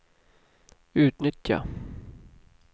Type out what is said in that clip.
utnyttja